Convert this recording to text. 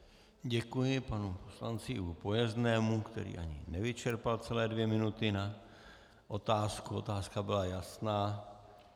Děkuji panu poslanci Ivu Pojeznému, který ani nevyčerpal celé dvě minuty na otázku, otázka byla jasná.